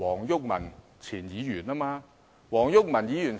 是前議員黃毓民。